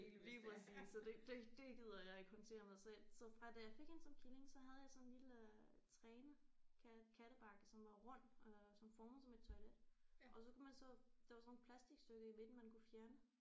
Lige præcis så det det det gider jeg ikke håndtere med så jeg så fra da jeg fik hende som killing så havde jeg sådan en lille træne katte kattebakke som var rund øh sådan formet som et toilet og så kunne man så der var sådan nogle plastikstykker i midten man kunne fjerne